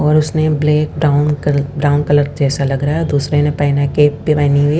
और उसने black down कल डाउन कलर जैसा लग रहा है दूसरे ने